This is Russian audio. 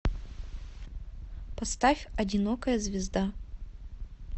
поставь одинокая звезда